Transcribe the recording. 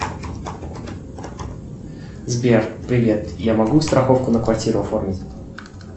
сбер привет я могу страховку на квартиру оформить